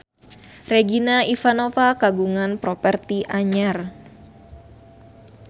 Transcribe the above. Regina Ivanova kagungan properti anyar